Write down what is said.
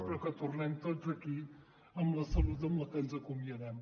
però que tornem tots aquí amb la salut amb la que ens acomiadem